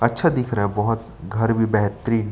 अच्छा दिख रहा है बहुत घर भी बेहतरीन --